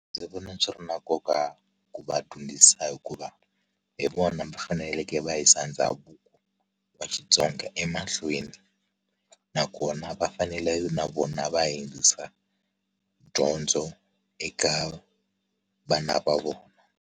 Ndzi vona swi ri na nkoka ku va dyondzisa hikuva hi vona va faneleke va yisa ndhavuko wa Xitsonga emahlweni nakona va fanele na vona va yisa dyondzo eka vana va vona.